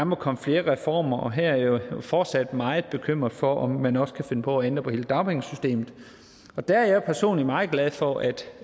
må komme flere reformer og her er jeg jo fortsat meget bekymret for at man også kan finde på at ændre på hele dagpengesystemet der er jeg personligt meget glad for at